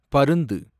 பருந்து